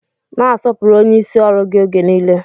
Na-asọpụrụ onyeisi ọrụ gị oge nile